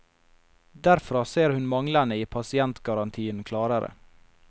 Derfra ser hun manglene i pasientgarantien klarere.